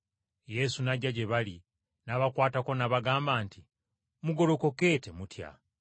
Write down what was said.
Yesu n’ajja gye bali n’abakwatako n’abagamba nti, “Mugolokoke temutya.”